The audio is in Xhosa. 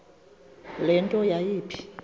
le nto yayipha